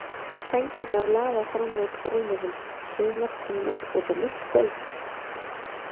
Sængurnar lafa fram úr rúmunum, sumar komnar út á mitt gólf.